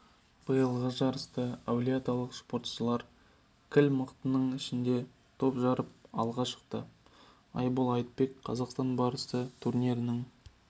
биылғы жарыста әулиеаталық спортшылар кіл мықтының ішінде топ жарып алға шықты айбол айтбек қазақстан барысы турнирінің